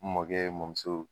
N mɔkɛ mɔmuso.